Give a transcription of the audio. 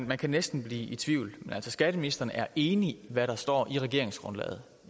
man kan næsten blive i tvivl men altså skatteministeren er enig i hvad der står i regeringsgrundlaget